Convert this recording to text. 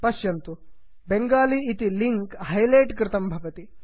पश्यन्तु बङ्गाली इति link highlight कृतं भवति